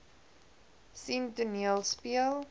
sien toneel speel